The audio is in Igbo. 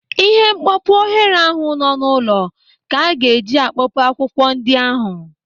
Ịhe mkpopu oghere ahụ nọ n'ụlọ ka a ga-eji akpopu akwụ ndị ahụ.